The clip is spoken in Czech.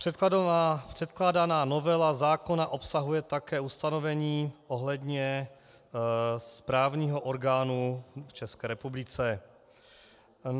Předkládaná novela zákona obsahuje také ustanovení ohledně správního orgánu v České republice.